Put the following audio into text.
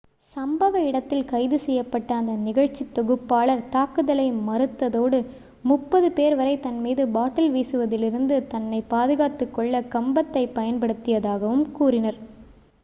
சம்பவ இடத்தில் கைது செய்யப்பட்ட அந்த நிகழ்ச்சித்தொகுப்பாளர் தாக்குதலை மறுத்ததோடு முப்பது பேர் வரை தன் மீது பாட்டில் வீசுவதிலிருந்து தன்னை பாதுகாத்துக் கொள்ள கம்பத்தைப் பயன்படுத்தியதாகவும் கூறினார்